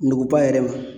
Nuguba yɛrɛ ma